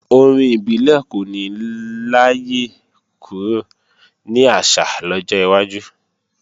Orin ibile kò ní láyé kúrò ní àṣà lọ́jọ́ iwájú